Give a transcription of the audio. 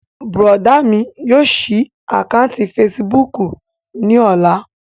Bùrọ̀dá mi yóò ṣí àkáǹtì fesibúùkù ní ọ̀la